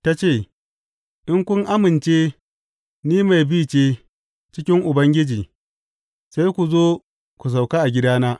Ta ce, In kun amince ni mai bi ce cikin Ubangiji, sai ku zo ku sauka a gidana.